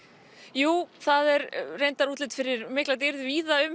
jú það er útlit fyrir mikla dýrð víða um